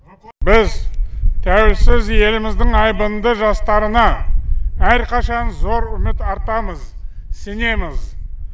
біз тәуелсіз еліміздің айбынды жастарына әрқашан зор үміт артамыз сенеміз